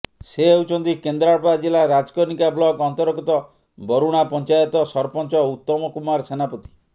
ସେ ହେଉଛନ୍ତି କେନ୍ଦ୍ରାପଡା ଜିଲ୍ଲା ରାଜକନିକା ବ୍ଲକ ଅନ୍ତର୍ଗତ ବରୁଣା ପଂଚାୟତ ସରପଞ୍ଚ ଉତ୍ତମ କୁମାର ସେନାପତି